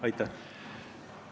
Aitäh!